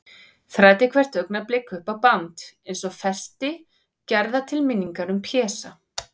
Þræddi hvert augnablik upp á band, eins og festi gerða til minningar um Pésa.